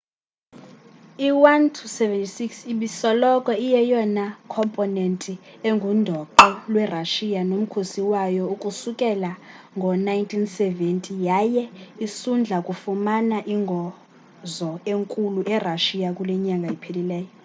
i il-76 ibisoloko iyeyona khomponenti engundoqo lwe russia nomkhosi wayo ukusukela ngo 1970 yaye isundla kufumana ingozo enkulu e russia kulenyanga iphelileyo